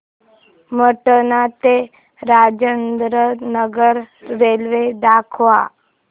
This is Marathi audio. पटणा ते राजेंद्र नगर रेल्वे दाखवा